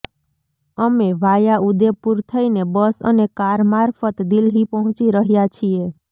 અમે વાયા ઉદેપુર થઇને બસ અને કાર મારફત દિલ્હી પહોંચી રહ્યા છીએ